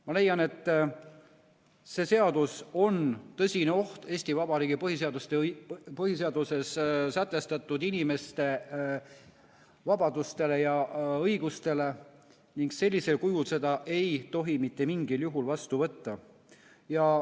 Ma leian, et see seadus on tõsine oht Eesti Vabariigi põhiseaduses sätestatud inimeste vabadustele ja õigustele ning sellisel kujul seda ei tohi mitte mingil juhul vastu võtta.